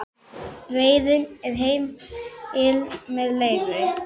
Veiði er heimil með leyfi.